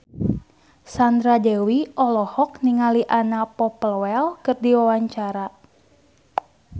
Sandra Dewi olohok ningali Anna Popplewell keur diwawancara